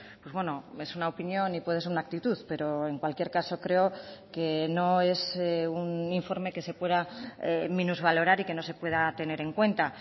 pues bueno es una opinión y puede ser una actitud pero en cualquier caso creo que no es un informe que se pueda minusvalorar y que no se pueda tener en cuenta